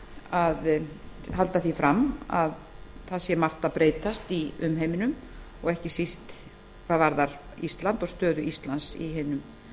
að halda því fram að margt sé að breytast í umheiminum og ekki síst hvað varðar ísland og stöðu þess í